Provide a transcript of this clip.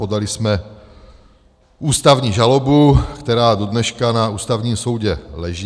Podali jsme ústavní žalobu, která dodneška na Ústavním soudu leží.